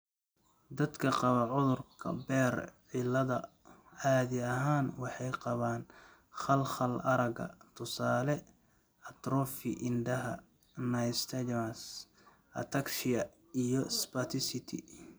Dadka qaba cudurka 'Behr cilada' caadi ahaan waxay qabaan khalkhal aragga (tusaale, atrophy indhaha, nystagmus), ataxia, iyo spasticity.